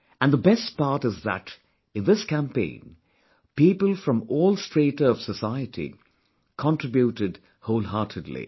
And the best part is that in this campaign, people from all strata of society contributed wholeheartedly